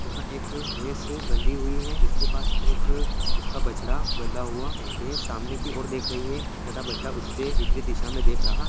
यहाँ एक भैंस बंधी हुई है इसके पास एक उसका बछडा बंधा हुआ है भैंस सामने की और देख रही है तथा बछड़ा उससे विपरित दिशा मे देख रहा--